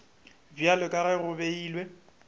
bjalo ka ge go beilwe